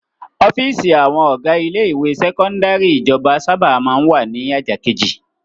Ọ́fíísì àwọn ọ̀gá ilé-ìwé sẹ́kọ́ndárì ìjọba sábà máa ń wà ní ajá kejì.